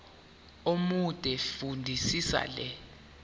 omude fundisisa le